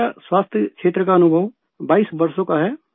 میرا صحت کے شعبہ میں کام کرنے کا تجربہ 22 سالوں پر محیط ہے